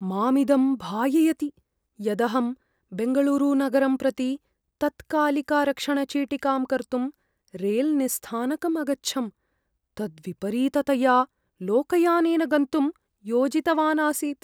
मामिदं भाययति यदहं बेङ्गलूरुनगरं प्रति तत्कालिकारक्षणचीटिकां कर्तुं रेलनिस्थानकम् अगच्छम्, तद्विपरीततया लोकयानेन गन्तुं योजितवानासीत्।